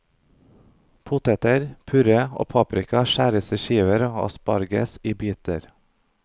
Poteter, purre og paprika skjæres i skiver og asparges i biter.